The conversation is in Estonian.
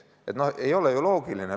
Ei ole ju loogiline?!